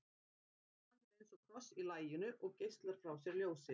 hann er eins og kross í laginu og geislar frá sér ljósi